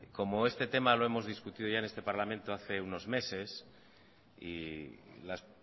como este tema lo hemos discutido ya en este parlamento hace unos meses y las